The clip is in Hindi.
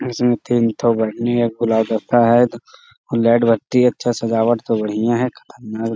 इसमें तीन ठो बैगनी और गुलाब रखा है। लाइट बत्ती एथे सजावट तो बढ़िया है। --